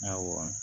Awɔ